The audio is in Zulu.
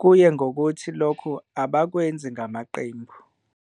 kuye ngokuthi lokho abakwenzi ngamaqembu.